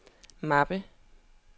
mappe